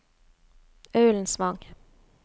Ullensvang